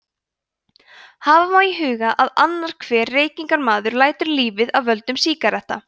hafa má í huga að annar hver reykingamaður lætur lífið af völdum sígaretta